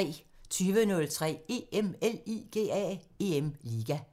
20:03: EM LIGA